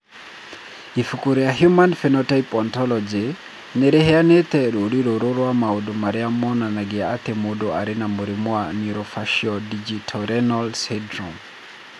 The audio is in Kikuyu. Ibuku rĩa The Human Phenotype Ontology nĩ rĩheanĩte rũũri rũrũ rwa maũndũ marĩa monanagia atĩ mũndũ arĩ na mũrimũ wa Neurofaciodigitorenal syndrome.